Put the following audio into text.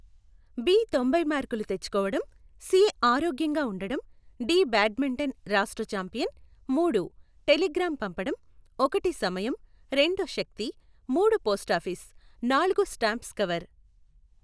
B తొంభై మార్కులు తెచ్చుకోవడం, సి ఆరోగ్యంగా ఉండడం, డి బాడ్మింటన్ రాష్ట్రఛాంపియన్, మూడు, టెలిగ్రాం పంపడం, ఒకటి సమయం, రెండు శక్తి, మూడు పోస్టాఫీస్, నాలుగు స్టాంప్స్ కవర్.